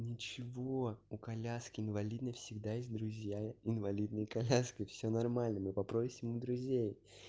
ничего у коляски инвалидной всегда есть друзья инвалидные коляски всё нормально мы попросим у друзей